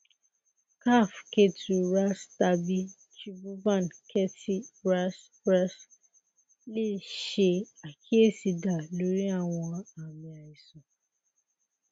kaph ketu ras tabi tribhuvan kirti ras ras le ṣe akiyesi da lori awọn aami aisan